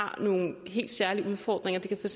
har nogle helt særlige udfordringer det kan for